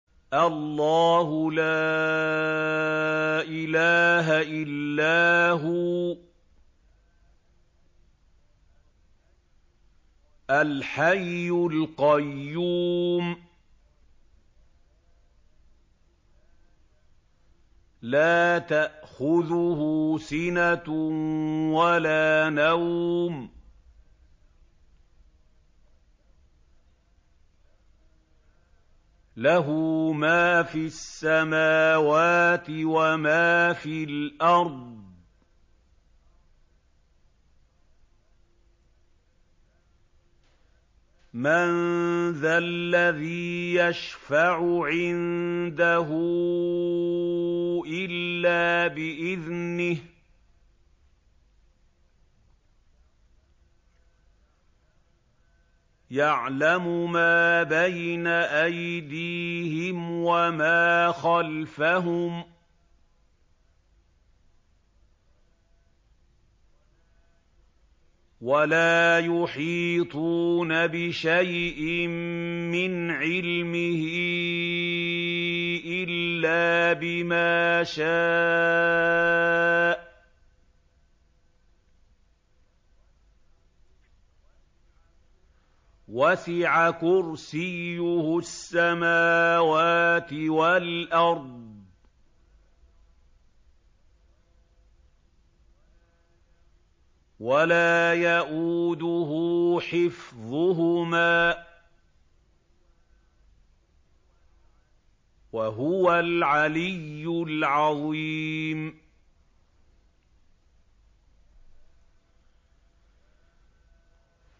اللَّهُ لَا إِلَٰهَ إِلَّا هُوَ الْحَيُّ الْقَيُّومُ ۚ لَا تَأْخُذُهُ سِنَةٌ وَلَا نَوْمٌ ۚ لَّهُ مَا فِي السَّمَاوَاتِ وَمَا فِي الْأَرْضِ ۗ مَن ذَا الَّذِي يَشْفَعُ عِندَهُ إِلَّا بِإِذْنِهِ ۚ يَعْلَمُ مَا بَيْنَ أَيْدِيهِمْ وَمَا خَلْفَهُمْ ۖ وَلَا يُحِيطُونَ بِشَيْءٍ مِّنْ عِلْمِهِ إِلَّا بِمَا شَاءَ ۚ وَسِعَ كُرْسِيُّهُ السَّمَاوَاتِ وَالْأَرْضَ ۖ وَلَا يَئُودُهُ حِفْظُهُمَا ۚ وَهُوَ الْعَلِيُّ الْعَظِيمُ